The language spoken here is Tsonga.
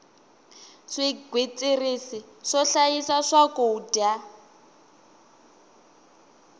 swigwitsirisi swo hlayisa swakudya